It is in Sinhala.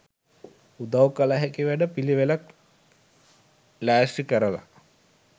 උදව් කල හැකි වැඩ පිලිවෙලක් ලෑස්ති කරලා